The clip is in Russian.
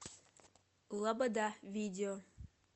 лобода видео